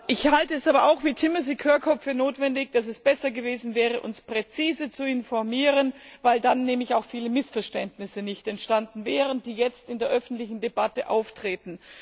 Ich halte es aber auch wie Thimothy Kirkhope für notwendig, dass es besser gewesen wäre, uns präzise zu informieren, weil dann nämlich auch viele Missverständnisse nicht entstanden wären, die jetzt in der öffentlichen Debatte auftreten.